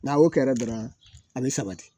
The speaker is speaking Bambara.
N'a y'o kɛra dɔrɔn a be sabati